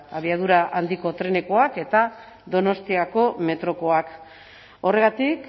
abiadura handiko trenekoak eta donostiako metrokoak horregatik